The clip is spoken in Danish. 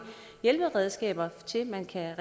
hjælperedskaber man kan